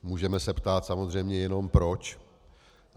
Můžeme se ptát samozřejmě jenom proč.